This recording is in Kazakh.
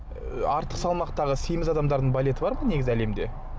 ы артық салмақтағы семіз адамдардың балеті бар ма негізі әлемде